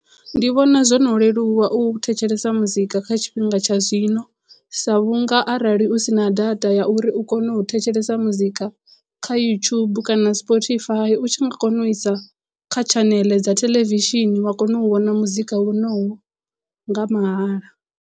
Ndi vhona zwo no leluwa u thetshelesa muzika kha tshifhinga tsha zwino sa vhunga arali u sina data ya uri u kone u thetshelesa muzika kha yutshubu kana spotify u tshi nga kona u isa kha tshaneḽe dza theḽevishini wa kona u vhona muzika wonowo nga mahala.